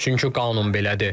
Çünki qanun belədir.